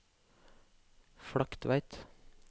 Flaktveit